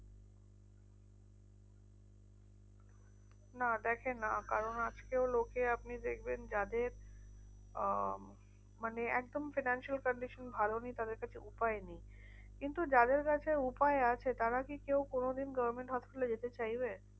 না দেখে না। কারণ আজকেও লোকে আপনি দেখবেন যাদের আহ মানে একদম financial condition ভালো নেই তাদের কাছে উপায় নেই। কিন্তু যাদের কাছে উপায় আছে, তারা কি কেউ কোনোদিন government hospital এ যেতে চাইবে?